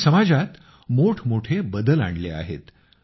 ज्यांनी समाजात मोठमोठी बदल झाले आहेत